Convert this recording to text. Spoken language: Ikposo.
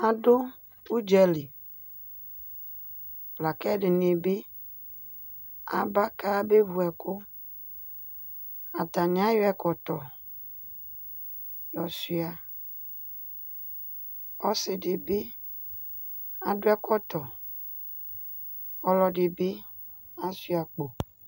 Adʋ ʋdza li la kʋ ɛdɩnɩ bɩ aba kayabevu ɛkʋ, atanɩ ayɔ ɛkɔtɔ yɔsʋɩa, ɔsɩdɩ bɩ adʋ ɛkɔtɔ, ɔlɔdɩ bɩ asʋɩa akpo